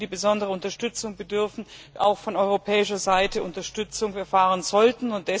besonderer Unterstützung bedürfen, auch von europäischer Seite Unterstützung erfahren sollten.